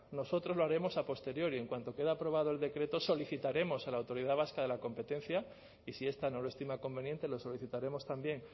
nosotros lo haremos a posteriori en cuanto quede aprobado el decreto solicitaremos a la autoridad vasca de la competencia y si esta no lo estima conveniente lo solicitaremos también